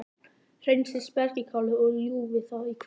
Hreinsið spergilkálið og kljúfið það í kvisti.